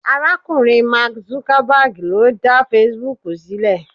arakunrin mark Zuckerberg lo da Facebook silẹ